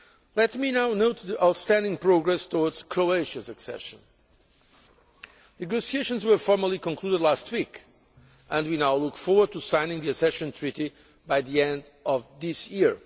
Let me now note the outstanding progress towards Croatia's accession. Negotiations were formally concluded last week, and we now look forward to signing the accession treaty by the end of this